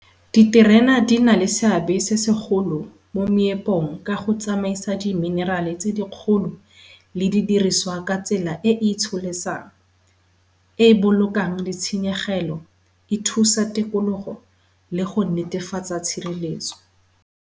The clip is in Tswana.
Diterena di na le seabe se se golo mo moepong ka go tsamaisa di miniral-e tse di kgolo le di diriswa ka tsela e e itsholesang, e e bolokang di tshenyegelo, e thusa tikologo le go netefatsa tshireletso.